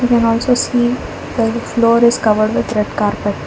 we can also see the floor is covered with red carpet.